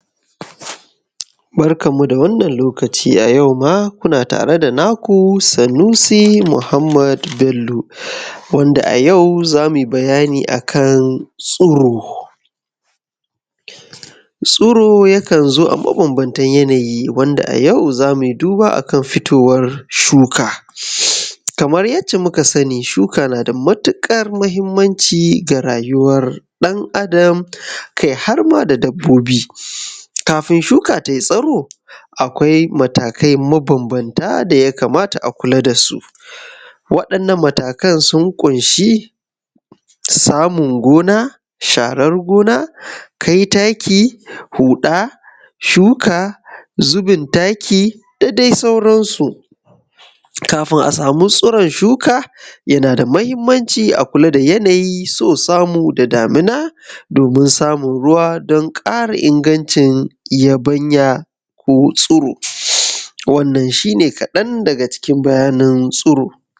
Barkanmu da wannan lokaci a yau ma kuna tare da naku sanusi Muhammad Bello a yau za mu yi bayani akan tsuro tsuro yakan zo a mabanbantan yanayi wanda a yau za mu yi duba akan fitowar shuka kamar yadda muka sani shuka na da matuƙar mahimmanci ga rayuːwar ɗan adam kai har ma da dabbobi idan shuka tai tsuro akwai matakai mabambanta, da ya kamata a kula da su waɗannan matakan sun ƙunshi samun gona sharar gina kai taki, huɗa shuka zubin taki da dai sauransu. Kafin a sama tsiron shuka yana da mahimmanci a kula da yanayi da damina domin samun ruwa don ƙara ingancin yabanya ko tsuro wannan shi ne kaɗan daga bayanin tsuro.